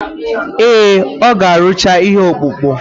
Ee, ọ ga arụcha ihe ọkpụkpụ.